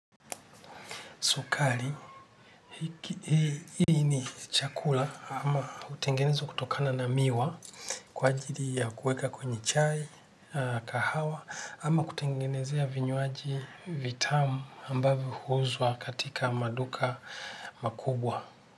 Sukari, hiki hii ni chakula ama hutengenezwa kutokana na miwa kwa ajili ya kueka kwenye chai, kahawa ama kutengenezea vinywaji vitamu ambavyo huuzwa katika maduka makubwa.